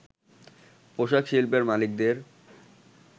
“পোশাক শিল্পের মালিকদের